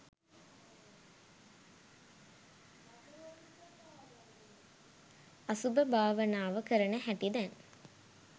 අසුභ භාවනාව කරන හැටි දැන්